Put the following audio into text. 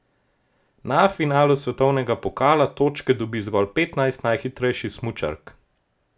Na finalu svetovnega pokala točke dobi zgolj petnajst najhitrejših smučark.